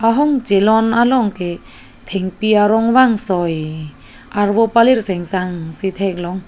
ahong chelon along ke thengpi arong vangsoi arvo palir seng sang si theklong.